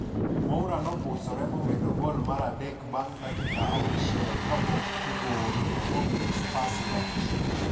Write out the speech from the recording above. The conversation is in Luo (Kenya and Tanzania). Moura nopusore momedo gol mar adek bang' dakika auchielkapok tugo orumo momiyo Spurs loch.